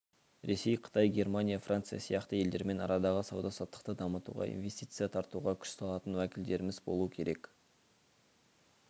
ресей қытай германия франция сияқты елдермен арадағы сауда-саттықты дамытуға инвестиция тартуға күш салатын уәкілдеріміз болуы керек